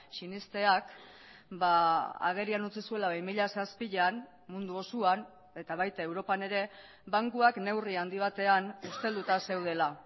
sinesteak agerian utzi zuela bi mila zazpian mundu osoan eta baita europan ere bankuak neurri handi batean ustelduta zeudela